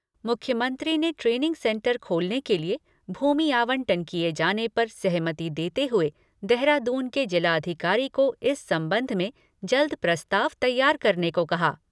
मुख्यमंत्री ने training centre खोलने के लिए भूमि आवंटन किए जाने पर सहमति देते हुए देहरादून के जिलाधिकारी को इस सम्बन्ध में जल्द प्रस्ताव तैयार करने को कहा।